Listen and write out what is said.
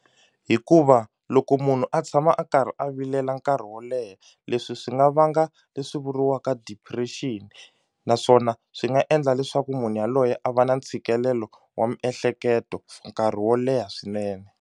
Hikuva loko munhu a tshama a karhi a vilela nkarhi wo leha leswi swi nga vanga leswi vuriwaka depression naswona swi nga endla leswaku munhu yaloye a va na ntshikelelo wa miehleketo nkarhi wo leha swinene.